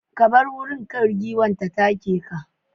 ka bar gurin, kar giwan ta take ka.